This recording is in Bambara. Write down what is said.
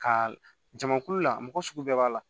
Ka jamakulu la mɔgɔ sugu bɛɛ b'a la